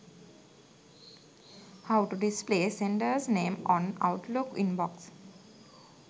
how to display senders name on outlook inbox